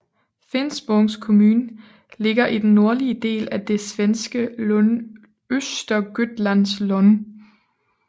Finspångs kommun ligger i den nordlige del af det svenske län Östergötlands län